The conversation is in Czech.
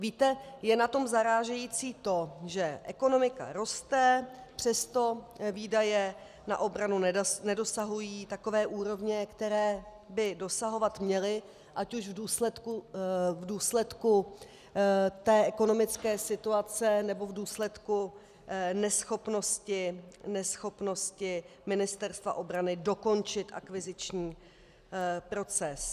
Víte, je na tom zarážející to, že ekonomika roste, přesto výdaje na obranu nedosahují takové úrovně, které by dosahovat měly ať už v důsledku té ekonomické situace, nebo v důsledku neschopnosti Ministerstva obrany dokončit akviziční proces.